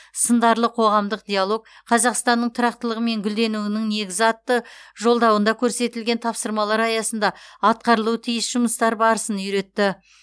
сындарлы қоғамдық диалог қазақстанның тұрақтылығы мен гүлденуінің негізі атты жолдауында көрсетілген тапсырмалар аясында атқарылуы тиіс жұмыстар барысын үйретті